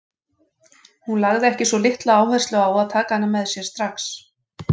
Hún lagði ekki svo litla áherslu á að taka hana með sér strax.